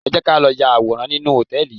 Ẹ jẹ́ ká lọ ya àwòrán nínú hòtẹ́ẹ̀lì yìí.